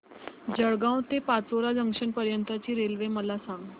जळगाव ते पाचोरा जंक्शन पर्यंतची रेल्वे मला सांग